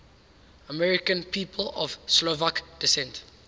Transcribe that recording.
american people of slovak descent